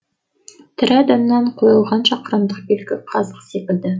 тірі адамнан қойылған шақырымдық белгі қазық секілді